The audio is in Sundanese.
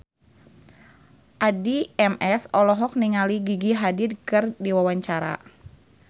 Addie MS olohok ningali Gigi Hadid keur diwawancara